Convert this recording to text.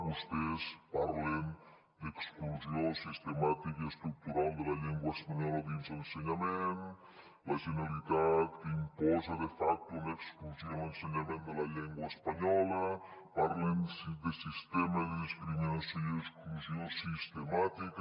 vostès parlen d’ exclusió sistemàtica i estructural de la llengua espanyola dins l’ensenyament la generalitat que imposa de facto una exclusió en l’ensenyament de la llengua espanyola parlen de sistema de discriminació i d’exclusió sistemàtica